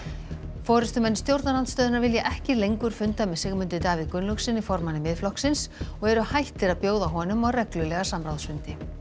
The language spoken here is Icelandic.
forystumenn stjórnarandstöðunnar vilja ekki lengur funda með Sigmundi Davíð Gunnlaugssyni formanni Miðflokksins og eru hættir að bjóða honum á reglulega samráðsfundi